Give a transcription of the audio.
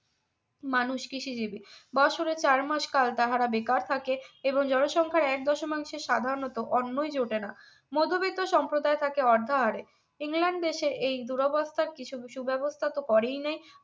মানুষ বছরের চার মাস কাল তাহারা বেকার থাকে এবং জনসংখ্যার এক দশমাংশে সাধারণত অন্নই জোটে না মধ্যবিত্ত সম্প্রদায় থাকি অর্ধাহারে ইংল্যান্ড দেশের এই দূরবস্থার কিছু কিছু ব্যবস্থা তো করেই নাই